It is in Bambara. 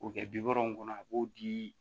O kɛ bi wɔɔrɔ in kɔnɔ a b'o di